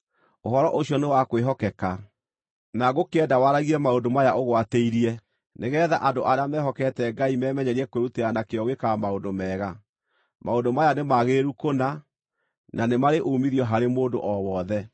Ũhoro ũcio nĩ wa kwĩhokeka. Na ngũkĩenda waragie maũndũ maya ũgwatĩirie, nĩgeetha andũ arĩa mehokete Ngai memenyerie kwĩrutĩra na kĩyo gwĩkaga maũndũ mega. Maũndũ maya nĩ magĩrĩru kũna, na nĩ marĩ uumithio harĩ mũndũ o wothe.